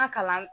An ka kalan